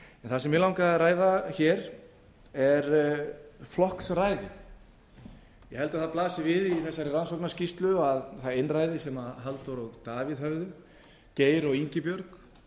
það sem mig langaði að ræða hér er flokksræðið ég held að það blasi við í þessari rannsóknarskýrslu að það einræði sem halldór og davíð höfðu geir og ingibjörg